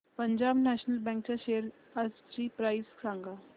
Punjab National Bank च्या shares आजची price सांगा